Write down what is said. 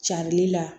Carili la